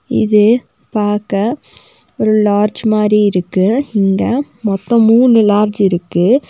இது பாக்க ஒரு லார்ட்ஜ் மாரி இருக்கு இங்க மொத்தொ மூணு லார்ட்ஜ் இருக்கு.